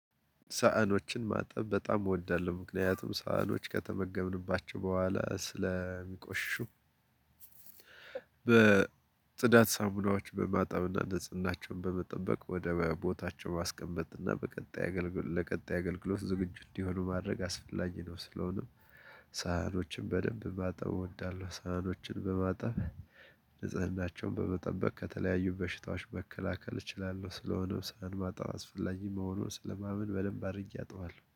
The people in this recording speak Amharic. ሳህኖችን ማጠብ በጣም እወዳለሁ ምክንያቱም ሳህኖች ከተመገብንባቸው በኋላ ስለሚቆሽሹ በጽዳት ሳሞናዎች በማጣብና ንጽህናቸውን በመጠበቅ ወደ ቦታቸው ማስቀመጥና በቀጣይ አገልግሎት ለቀጣይ አገልግሎት ዝግጁ እንዲሆኑ ማድረግ አስፈላጊ ነው ስለሆነም ሳህኖችን በደንብ ማጠብ እወዳለሁ ሳህኖችን በማጠብ ንጽህናቸውን በመጠበቅ ከተለያዩ በሽታዎች መከላከል እችላለሁ ስለሆነም ሳህን ማጠብ አስፈላጊ መሆኑን ስለማመን በደንብ አድርጌ አጥበዋለሁ።